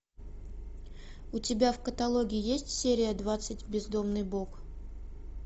у тебя в каталоге есть серия двадцать бездомный бог